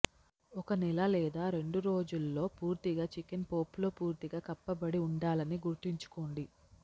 ఒక నెల లేదా రెండు రోజుల్లో పూర్తిగా చికెన్ పోప్లో పూర్తిగా కప్పబడి ఉండాలని గుర్తుంచుకోండి